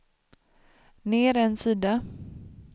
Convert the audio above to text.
ner en sida